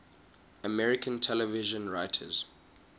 american television writers